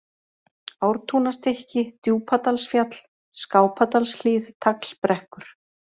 Ártúnastykki, Djúpadalsfjall, Skápadalshlíð, Taglbrekkur